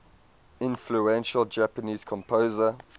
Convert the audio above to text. influential japanese composer